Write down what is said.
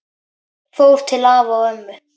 Fór til afa og ömmu.